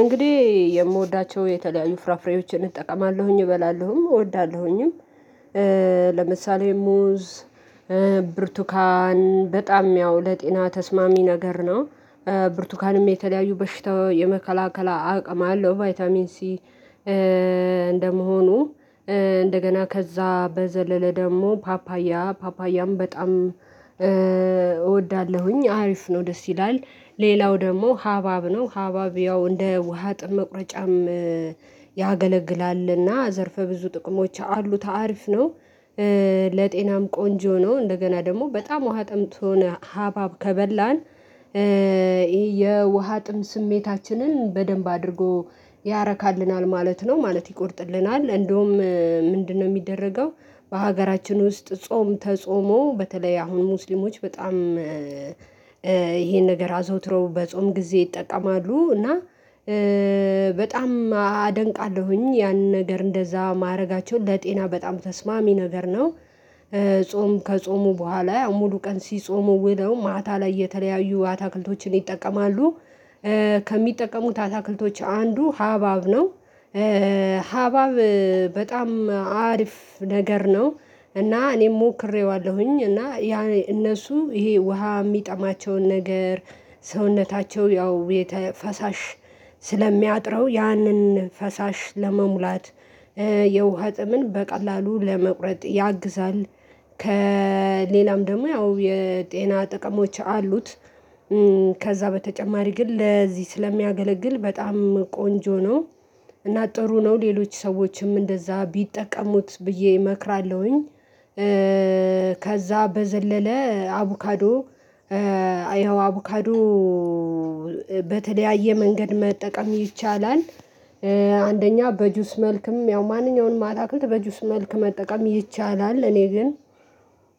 እንግዲህ የምወዳቸው የተለያዩ ፍራፍሬዎችን እጠቀማለሁኝ እበላለሁም እወዳለሁኝም። ለምሳሌ ሙዝ ብርቱካን በጣም ያው ለጤና ተስማሚ ነገር ነው። ብርቱካንም የተለያዩ በሽታው የመከላከላ አቅም አለው ቫይታሚን ሲ። እንደመሆኑ እንደገና ከዛ በዘለለ ደግሞ ፓፓያ ፓፓያም በጣም እወዳለሁኝ አሪፍ ነው ደስ ይላል። ሌላው ደግሞ ሀባብ ነው ሀባብ ያው እንደ ውሃ ጥም መቁረጫም። ያገለግላልና ዘርፈ ብዙ ጥቅሞች አሉት አሪፍ ነው። ለጤናም ቆንጆ ነው እንደገና ደግሞ በጣም ውሃ ጥምቶን ሀባብ ከበላን የውሃ ጥም ስሜታችንን በደንብ አድርጎ ያረካልናል ማለት ነው ማለት ይቆርጥልናል። እንደውም ምንድነው? የሚደረገው በሀገራችን ውስጥ ጾም ተጾሞ በተለይ አሁን ሙስሊሞች በጣም ይሄን ነገር አዘውትረው በጾም ጊዜ ይጠቀማሉ እና። በጣም አደንቃለሁኝ ያንን ነገር እንደዛ ማድረጋቸውን ለጤና በጣም ተስማሚ ነገር ነው። ጾም ከጾሙ በኋላ ሙሉ ቀን ሲጾሙ ውለው ማታ ላይ የተለያዩ አትክልቶችን ይጠቀማሉ። ከሚጠቀሙት አትክልቶች አንዱ ሀባብ ነው። ሀባብ በጣም አሪፍ ነገር ነው። እና እኔም ሞክሬዋለሁኝ እና ያ እነሱ ይሄ ውሃ የሚጠማቸውን ነገር ሰውነታቸው ያው ፈሳሽ ስለሚያጥረው ያንን ፈሳሽ ለመሙላት የውሃ ጥምን በቀላሉ ለመቁረጥ ያግዛል። ከ ሌላም ደግሞ ያው የጤና ጥቅሞች አሉት። ከዛ በተጨማሪ ግን ለዚህ ስለሚያገለግል በጣም ቆንጆ ነው። እና ጥሩ ነው ሌሎች ሰዎችም እንደዛ ቢጠቀሙት ብዬ እመክራለሁኝ። ከዛ በዘለለ አቮካዶ ያው አቮካዶ በተለያየ መንገድ መጠቀም ይቻላል። አንደኛ በጁስ መልክም ያው ማንኛውንም አታክልት በጁስ መልክ መጠቀም ይቻላል እኔ ግን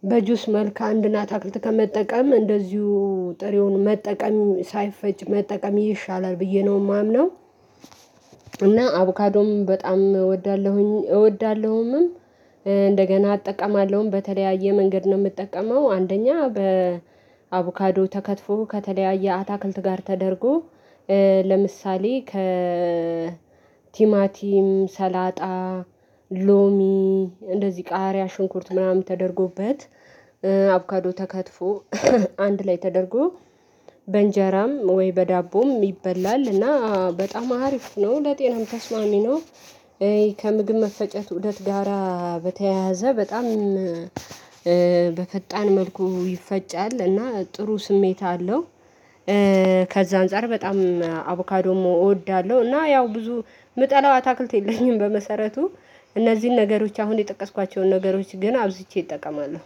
በጁስ መልክ አንድን አታክልት ከመጠቀም እንደዚሁ ጥሬውን መጠቀም ሳይፈጭ መጠቀም ይሻላል ብዬ ነው የማምነው። እና አቩካዶም በጣም እወዳለሁኝ እወዳለሁኝም እንደገና አጠቀማለሁም በተለያየ መንገድ ነው የምጠቀመው። አንደኛ በ አቮካዶ ተከትፎ ከተለያየ አታክልት ጋር ተደርጎ ለምሳሌ ከ ቲማቲም ሰላጣ ሎሚ እንደዚህ ቃሪያ ሽንኩርት ምናምን ተደርጎበት አቩካዶ ተከትፎ አንድ ላይ ተደርጎ በእንጀራም ወይ በዳቦም ይበላል እና በጣም አሪፍ ነው ለጤናም ተስማሚ ነው። ከምግብ መፈጨት ኡደት ጋራ በተያያዘ በጣም በፈጣን መልኩ ይፈጫል እና ጥሩ ስሜት አለው። ከዛ አንፃር በጣም አቮካዶም እወዳለሁ እና ያው ብዙ የምጠላው አታክልት የለኝም በመሰረቱ እነዚህን ነገሮች አሁን የጠቀስኳቸውን ነገሮች ግን አብዝቼ እጠቀማለሁ